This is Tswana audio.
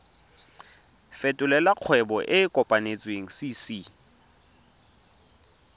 fetolela kgwebo e e kopetswengcc